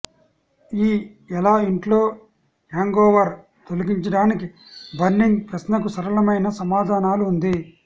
ఈ ఎలా ఇంట్లో హ్యాంగోవర్ తొలగించడానికి బర్నింగ్ ప్రశ్నకు సరళమైన సమాధానాలు ఉంది